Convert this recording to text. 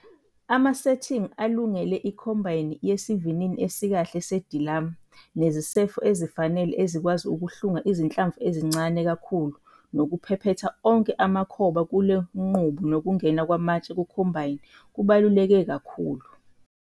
Amasethingi alungile ekhombayini yesivinini esikahle sedilamu nezisefo ezifanele ezikwazi ukuhlunga izinhlamvu ezincane kakhulu nokuphephetha onke amakhoba kule ngqubo nokungena kwamatshe kukhombayni kubaluleke kakhulu.